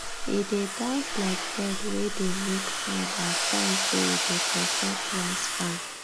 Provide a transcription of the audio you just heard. e dey dance like bird wey dey make sound as sign say e dey protect rice farm